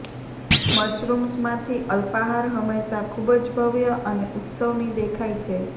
મશરૂમ્સમાંથી અલ્પાહાર હંમેશા ખૂબ જ ભવ્ય અને ઉત્સવની દેખાય છે